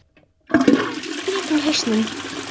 Ég er tóm og skrýtin í hausnum.